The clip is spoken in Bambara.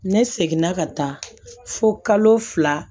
Ne seginna ka taa fo kalo fila